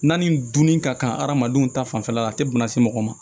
N'a ni dunni ka kan adamadenw ta fanfɛla la a tɛ bana se mɔgɔ ma